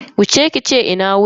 Wuce kije ki ce "Ina wuni".